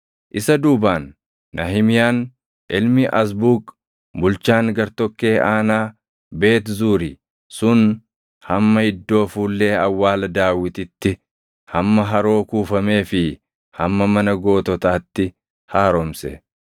Isa duubaan Nahimiyaan ilmi Azbuuq bulchaan gartokkee aanaa Beet Zuuri sun hamma iddoo fuullee awwaala Daawititti, hamma haroo kuufamee fi hamma Mana Goototaatti haaromse.